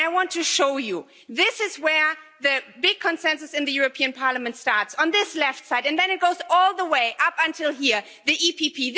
I want to show you this is where the big consensus in the European Parliament starts, on this left side, and then it goes all the way up until here the EPP.